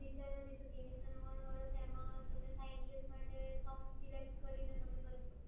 રિચાર્જમાં જે તેવીસો નવ્વાણું વાળું છે એમાં તમને સાહીંઠ દિવસ માટે સોંગ સિલેક્ટ કરીને તમે કરી શકો છો,